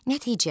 Nəticə.